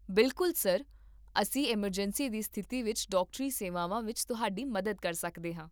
ਬਿਲਕੁੱਲ , ਸਰ, ਅਸੀਂ ਐੱਮਰਜੈਂਸੀ ਦੀ ਸਥਿਤੀ ਵਿੱਚ ਡਾਕਟਰੀ ਸੇਵਾਵਾਂ ਵਿੱਚ ਤੁਹਾਡੀ ਮਦਦ ਕਰ ਸਕਦੇ ਹਾਂ